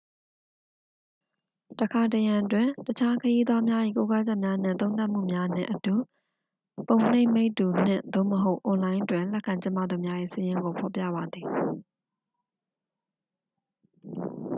တစ်ခါတစ်ရံတွင် တခြား ခရီးသွားများ၏ ကိုးကားချက်များနှင့် သုံးသပ်မှုများနှင့်အတူ ပုံနှိပ်မိတ္တူ နှင့်/သို့မဟုတ် အွန်လိုင်းတွင် လက်ခံကျင်းပသူများ၏ စာရင်းကို ဖော်ပြပါသည်။